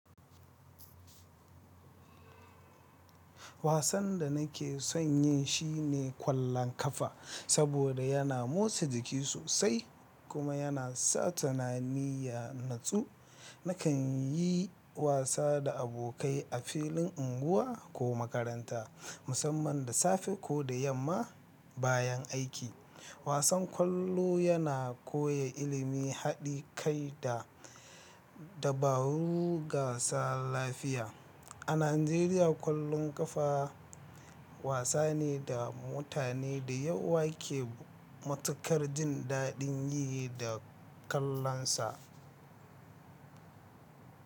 Wasan da nake son yin shi ne ƙwallon ƙafa saboda yana motsa jiki sosai kuma yana sa tunani ya natsu. Nakan yi wasa da abokai a filin unguwa ko makaranta, musamman da safe ko da yamma bayan aiki. Wasan ƙwallo yana koya ilimin haɗi kai da dabarun gasa lafiya. A Najeriya, ƙwallon ƙafa wasa ne da mutane da yawa ke matukar jin daɗin yi da kallonsa.